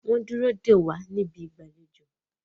wón dúró dè wá ní Ibi ìgbàlejò.